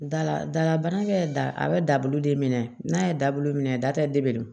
Dala dalabana kɛ da a bɛ dabulu de minɛ n'a ye dabulu minɛ da tɛ de bɛ don